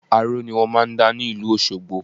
Aró ni wọ́n máà ń dá ní ìlú Òṣogbọ